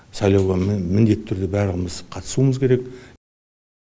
сайлауға міндетті түрде барлығымыз қатысуымыз керек